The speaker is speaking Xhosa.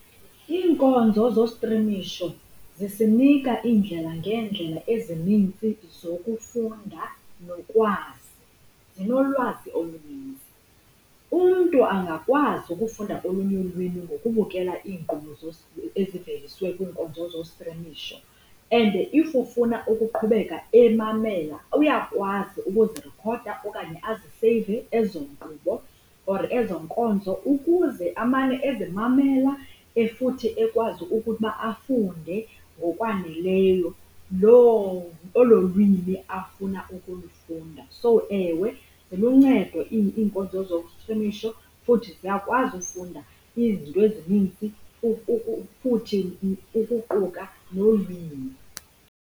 Iinkonzo zostrimisho zisinika iindlela ngeendlela ezinintsi zokufunda nokwazi, zinolwazi oluninzi. Umntu angakwazi ukufunda olunye ulwimi ngokubukela iinkqubo eziveliswe kwinkonzo zostrimisho. And if ufuna ukuqhubeka emamela uyakwazi ukuzirekhoda okanye aziseyive ezo nkqubo or ezo nkonzo ukuze amane ezimamela futhi ekwazi ukuba afunde ngokwaneleyo olo lwimi afuna ukulifunda. So, ewe, ziluncedo iinkonzo zostrimisho futhi siyakwazi ufunda izinto ezininzi futhi ukuquka nolwimi.